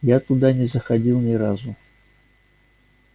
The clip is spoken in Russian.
я туда и не заходил ни разу